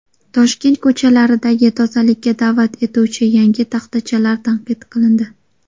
Toshkent ko‘chalaridagi tozalikka da’vat etuvchi yangi taxtachalar tanqid qilindi.